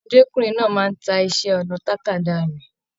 Ọmọdékunrin náà máa n tá iṣẹ ọnà tàkádá rẹ.